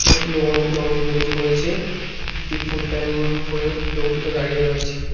একটি লোক হলুদ রঙের গেঞ্জি পরেছে একটি ফুল প্যান্ট পরে লোক দুটো দাঁড়িয়ে রয়েছে।